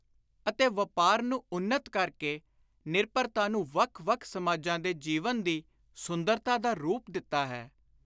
ਅਤੇ ਵਾਪਾਰ ਨੂੰ ਉੱਨਤ ਕਰ ਕੇ ਇਸ ਨਿਰਭਰਤਾ ਨੂੰ ਵੱਖ ਵੱਖ ਸਮਾਜਾਂ ਦੇ ਜੀਵਨ ਦੀ ਸੁੰਦਰਤਾ ਦਾ ਰੂਪ ਦਿੱਤਾ ਹੈ।